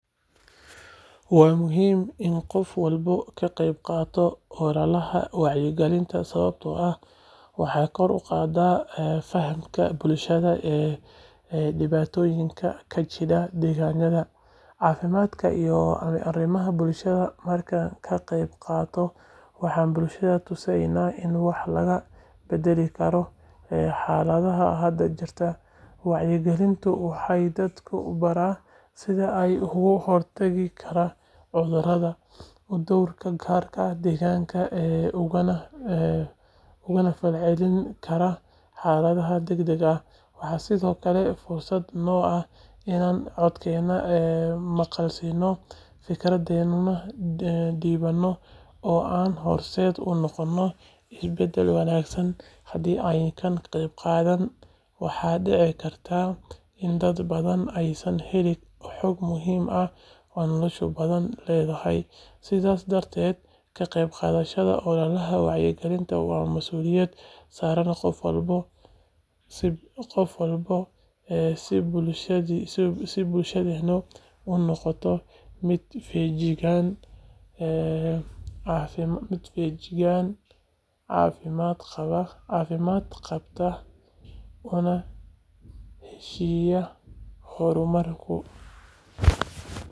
Waa muhiim in qof walba ka qeybqaato ololaha wacyigelinta sababtoo ah waxay kor u qaadaa fahamka bulshada ee dhibaatooyinka ka jira deegaanka, caafimaadka, iyo arrimaha bulshada. Markaan ka qeybqaadano, waxaan bulshada tusineynaa in wax laga beddeli karo xaaladda hadda jirta. Wacyigelintu waxay dadka baraa sida ay uga hortagi karaan cudurrada, u dhowran karaan deegaanka, ugana falcelin karaan xaaladaha degdegga ah. Waxaa sidoo kale fursad noo ah inaan codkeenna maqalsiino, fikradeyna dhiibanno, oo aan horseed u noqono isbeddel wanaagsan. Haddii aynaan ka qeybqaadan, waxaa dhici karta in dad badan aysan helin xog muhiim ah oo noloshooda badbaadin lahayd. Sidaas darteed, ka qeybqaadashada ololaha wacyigelinta waa masuuliyad saaran qof walba si bulshadeenu u noqoto mid feejigan, caafimaad qabta, una heshiiya horumarka.